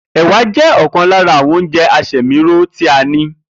Èwà jé̩ ò̩kan lára àwo̩n oúnje̩ asè̩míró tí a ní